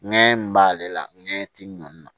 Ɲɛ min b'ale la nɛ ti nɔɔni na